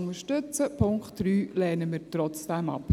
Den Punkt 3 lehnen wir trotzdem ab.